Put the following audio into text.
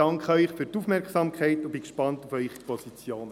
Ich bin gespannt auf Ihre Positionen.